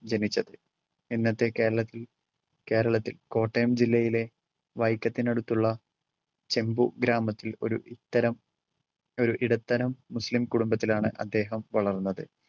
ജനിച്ചത്. ഇന്നത്തെ കേരളത്തിൽ കേരളത്തിൽ കോട്ടയം ജില്ലയിലെ വൈക്കത്തിനടുത്തുള്ള ചെമ്പു ഗ്രാമത്തിൽ ഒരു ഇത്തരം ഏർ ഇടത്തരം മുസ്ലിം കുടുംബത്തിലാണ്‌ അദ്ദേഹം വളർന്നത്.